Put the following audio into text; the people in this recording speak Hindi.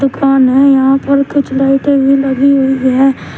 कौन है यहां पर कुछ लाइटे भी लगी हुई है।